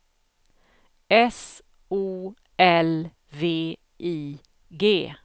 S O L V I G